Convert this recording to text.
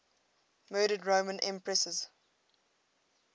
murdered roman empresses